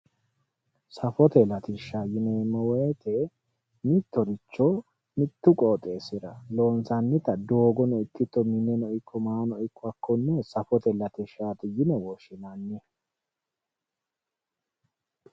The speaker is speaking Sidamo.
Safote latishsha yineemmo woyte mittoricho mitu qoxxeessira loonsannitta doogono ikko mineno ikko maano ikko hakkone safote latishshati yinne woshshinanni.